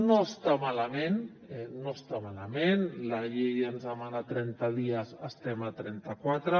no està malament no està malament la llei ens demana trenta dies estem a trenta quatre